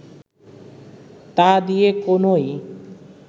তা দিয়ে কোনই